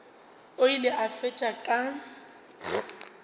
o ile a fetša ka